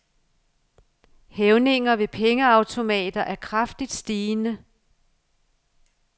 Hævninger ved pengeautomater er kraftigt stigende.